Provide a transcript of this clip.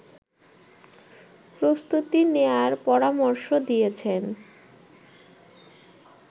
প্রস্তুতি নেয়ার পরামর্শ দিয়েছেন